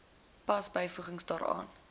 pas byvoegings daaraan